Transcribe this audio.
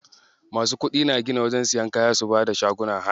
Masu kuɗi na gina wajen siyan kaya su bada shagunan haya.